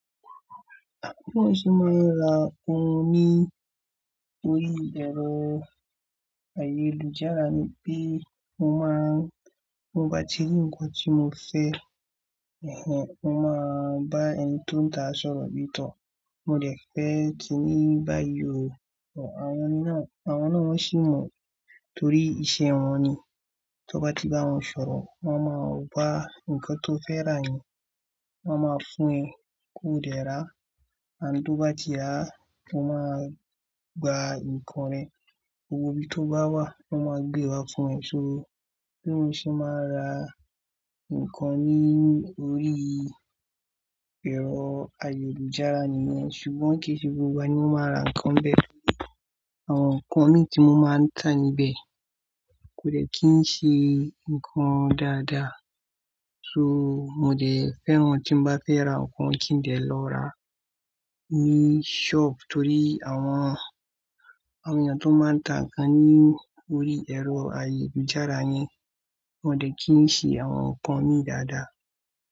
Bí mo ṣe máa ń ra òun ní orí ẹ̀rọ ayélujára ni pé mo máa ń, mo bá ti rí ǹkan tí mo fẹ́, mo máa bá ẹni tó ń tà á sọ̀rọ̀ bí tọ́. Mo dẹ̀ fẹ́ kíní bá yọ, àwọn náà, àwọn náà ó sì mọ̀ torí iṣẹ́ wọn ni. Tó bá ti bá wọn sọ̀rọ̀, wọ́n máa wá ǹkan tó fẹ́ rà yẹn, wọ́n máa fún ẹ ko dẹ̀ rà. And, tó bá ti rà á, o máa gba ǹkan rẹ, gbogbo bí tó bá wà, wọ́n máa gbé wá fún ẹ. So, bí mo ṣe máa ra ǹkan ní orí ẹ̀rọ ayélujára nìyẹn. Ṣùgbọ́n kì í ṣe gbogbo ní mo máa ń ra ǹkan bẹ́ẹ̀. Àwọn ǹkan mi tí mo máa ń tà níbẹ̀ kò dẹ́ kí ń ṣe ǹkan dáadáa. So, mo dẹ̀ fẹ́ràn tí bá fẹ́ ra ǹkan kí ń dẹ́ lọ ra ní ṣọ́ọ̀bù torí àwọn ènìyàn tó máa ń tà ǹkan ní orí ẹ̀rọ ayélujára yẹn kò dẹ́ kí ń ṣe àwọn ǹkan mi dáadáa.